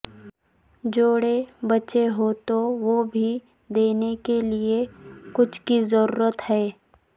جوڑے بچے ہوں تو وہ بھی دینے کے لئے کچھ کی ضرورت ہے